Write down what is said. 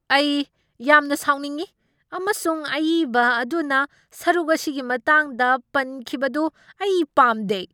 ꯑꯩ ꯌꯥꯝꯅ ꯁꯥꯎꯅꯤꯡꯉꯤ ꯑꯃꯁꯨꯡ ꯑꯏꯕ ꯑꯗꯨꯅ ꯁꯔꯨꯛ ꯑꯁꯤꯒꯤ ꯃꯇꯥꯡꯗ ꯄꯟꯈꯤꯕꯗꯨ ꯑꯩ ꯄꯥꯝꯗꯦ꯫